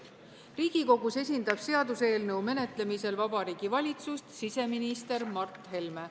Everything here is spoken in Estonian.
Riigikogus esindab seaduseelnõu menetlemisel Vabariigi Valitsust siseminister Mart Helme.